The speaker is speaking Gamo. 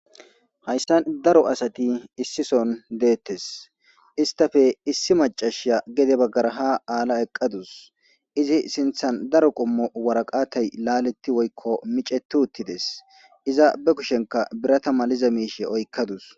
Hayssan daro asati issison deettes istafe issi macashiya gede baggara ha aala eqqadus izi sinthan daro qommo waraqatay laaletti woykko miceti uttides iza be kushenka birata maliza miishe oykkadus.